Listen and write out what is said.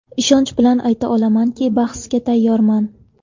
Ishonch bilan ayta olamanki, bahsga tayyorman.